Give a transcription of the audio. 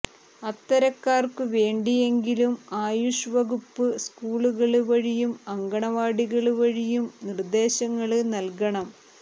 അത്തരക്കാര്ക്കുവേണ്ടിയെങ്കിലും ആയുഷ് വകുപ്പ് സ്കൂളുകള് വഴിയും അങ്കണവാടികള് വഴിയും നിര്ദ്ദേശങ്ങള് നല്കണം